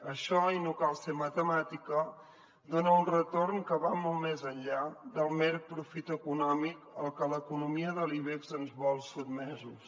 això i no cal ser matemàtica dona un retorn que va molt més enllà del mer profit econòmic al que l’economia de l’ibex ens vol sotmesos